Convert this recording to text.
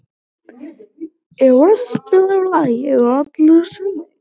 Eros, spilaðu lagið „Allir sem einn“.